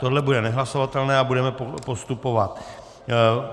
To bude nehlasovatelné a budeme postupovat.